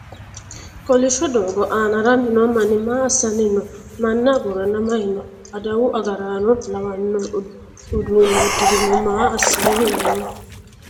koilishsho doogo aana haranni noo manni maa assanni no? manna agurranna maye no? adawu agaraano lawanno uddanno uddirinohu maa assanni no?